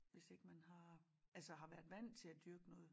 Hvis ikke man har altså har været vandt til at dyrke noget